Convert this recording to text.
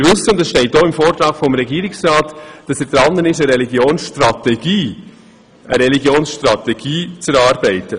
Es steht auch im Vortrag des Regierungsrats, dass dieser dabei ist, eine Religionsstrategie zu erarbeiten.